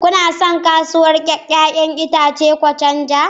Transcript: Kuna son kasuwar 'ya'yan itace Ochanja?